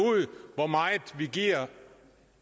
hvor meget vi giver